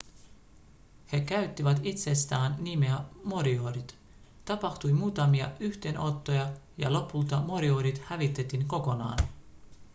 he käyttivät itsestään nimeä moriorit tapahtui muutamia yhteenottoja ja lopulta moriorit hävitettiin kokonaan